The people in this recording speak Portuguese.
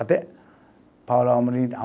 Até Paulo Amorim